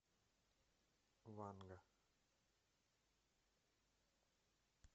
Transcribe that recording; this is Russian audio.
ванга